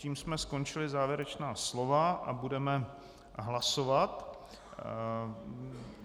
Tím jsme skončili závěrečná slova a budeme hlasovat.